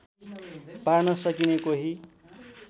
पार्न सकिने कोही